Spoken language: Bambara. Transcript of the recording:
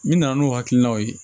Min nana n'o hakilinaw ye